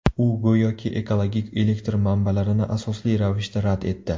U go‘yoki ekologik elektr manbalarini asosli ravishda rad etdi.